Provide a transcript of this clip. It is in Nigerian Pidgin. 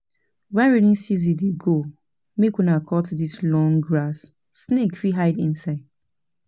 Wen rainy season dey go, make una cut dis long grass, snake fit hide inside.